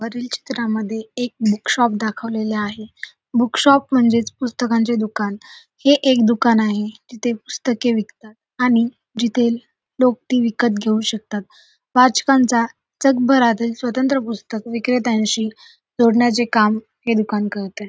वरील चित्रामद्धे एक बूक शॉप दाखवेलेल आहे बूक शॉप म्हणजेच पुस्तकांचे दुकान हे एक दुकान आहे जिथे पुस्तके विकतात आणि जिथे लोक ते विकत घेऊ शकतात आजकालचा जगभरातील स्वतंत्र पुस्तक विक्रेत्यांशी जोडण्याचे काम हे दुकान करतय.